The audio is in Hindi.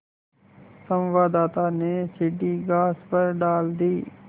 संवाददाता ने सीढ़ी घास पर डाल दी